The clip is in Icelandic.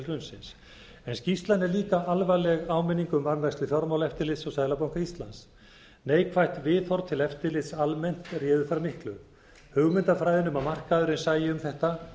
hrunsins en skýrslan er líka alvarleg áminning um varðveislu fjármálaeftirlits og seðlabanka íslands neikvætt viðhorf til eftirlits almennt réði þar miklu hugmyndafræðin um að markaðurinn sæi um þetta